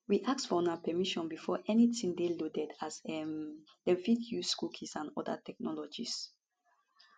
we ask for una permission before anytin dey loaded as um dem fit dey use cookies and oda technologies